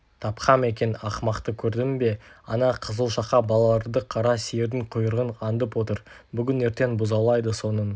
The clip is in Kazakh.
тапқам екен ақымақты көрдің бе ана қызылшақа балаларды қара сиырдың құйрығын аңдып отыр бүгін-ертең бұзаулайды соның